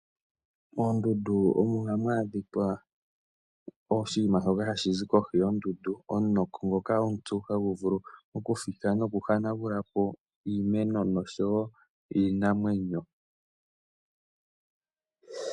Moondundu omo hamu adhika oshinima shoka hashi zi kohi yoondundu. Omunoko ngoka omupyu hagu vulu oku fika noku hanagulapo iimeno nosho woo iinamwenyo.